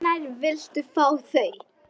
Hvenær viltu fá þau?